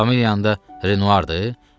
Familiyan da Renoir-dır?